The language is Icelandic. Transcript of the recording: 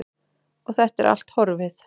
Og þetta er allt horfið.